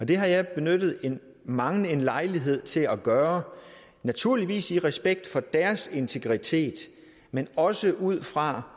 det har jeg benyttet mangen en lejlighed til at gøre naturligvis i respekt for deres integritet men også ud fra